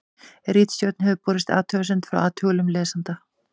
ritstjórn hefur borist athugasemd frá athugulum lesanda